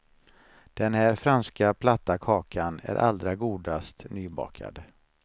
Den här franska platta kakan är allra godast nybakad.